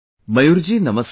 Mayur ji Namaste